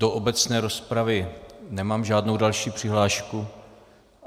Do obecné rozpravy nemám žádnou další přihlášku.